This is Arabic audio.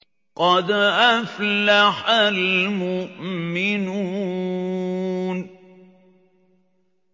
قَدْ أَفْلَحَ الْمُؤْمِنُونَ